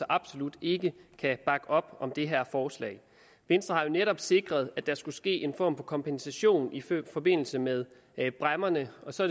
absolut ikke kan bakke op om det her forslag venstre har jo netop sikret at der skulle ske en form for kompensation i forbindelse med bræmmerne og så